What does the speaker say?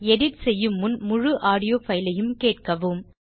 edit செய்யும் முன் முழு ஆடியோ fileயும் கேட்கவும்